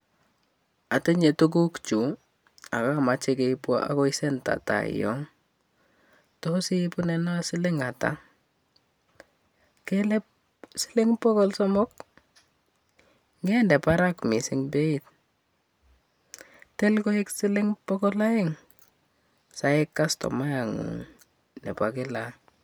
Atinyee tuguuk chuu ako kamachee keip kopa taii yotok kelee pokol somok acha aginyee angendee peiit parak indee pokol aeng saek kastomayat nguung nepo kila